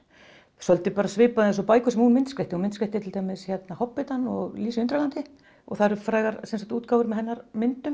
svolítið svipað eins og bækur sem hún myndskreytti hún myndskreytti til dæmis hobbitann og Lísu í Undralandi og það eru frægar útgáfur með hennar myndum